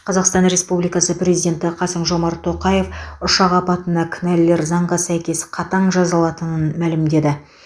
қазақстан республикасы президенті қасым жомарт тоқаев ұшақ апатына кінәлілер заңға сәйкес қатаң жазаланатынын мәлімдеді